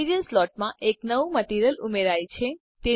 material સ્લોટમાં એક નવું મટીરીઅલ ઉમેરાયલ છે